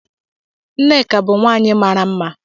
Nneka bu nwanyi mara mma.